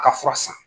A ka fura san